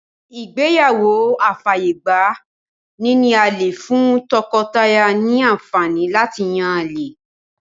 Ìgbéyàwó afàyègba-níní-àlè fún tọkọ-taya ní àǹfàní láti yán àlè.